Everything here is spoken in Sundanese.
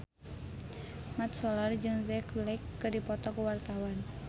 Mat Solar jeung Jack Black keur dipoto ku wartawan